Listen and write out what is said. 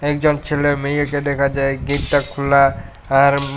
একজন ছেলে মেয়েকে দেখা যায় গেটটা খোলা আর উম--